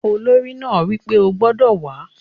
Olórí náà wí pé "o gbodò wàá!"